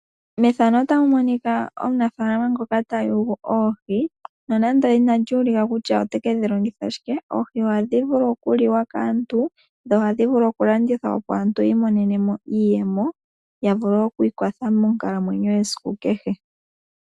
Mefano otamu monika omunafalama ngoka ta yulu oohi. Nonando inali ulika kutya ote kedhi longitha shike, oohi ohadhi vulu oku liwa kaantu. Dho ohadhi vulu oku landithwa opo aantu yi imonene mo iiyemo, ya vulu okwi ikwatha monkalamwenyo yesiku kehe.